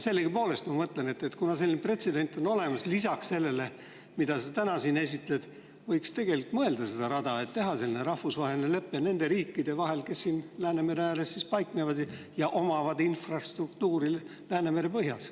Sellegipoolest, ma mõtlen, et kuna selline pretsedent on olemas, siis lisaks sellele, mida sa täna siin esitad, võiks tegelikult mõelda selle peale, et teha selline rahvusvaheline lepe nende riikide vahel, kes siin Läänemere ääres paiknevad ja kellel on infrastruktuuri Läänemere põhjas.